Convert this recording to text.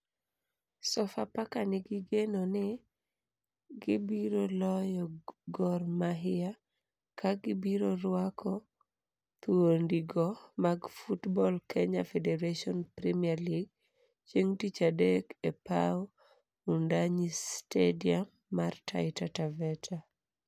Sofapaka nigi geno ni gibiyo loyo Gor Mahia ka gibiro rwako thuondi go mag Football Kenya Federation Premier League chieng tich adek e paw Wudanyi Stadium man Taita Taveta.